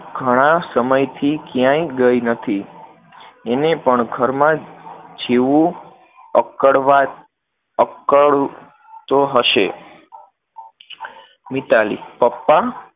ઘણા સમયથી ક્યાંય ગઈ નથી, એને પણ ઘરમાં જ જીવવું, અકડવા, અકળ તો હશે, મિતાલી પપ્પા